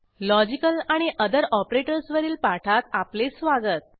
logical आणि other operators वरील पाठात आपले स्वागत